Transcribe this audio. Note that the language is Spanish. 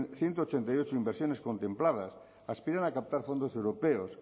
ciento ochenta y ocho inversiones contempladas aspiran a captar fondos europeos